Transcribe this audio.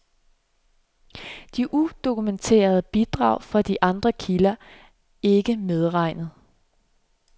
De udokumenterede bidrag fra andre kilder ikke medregnet.